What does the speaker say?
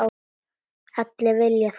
Allir vilja það sama.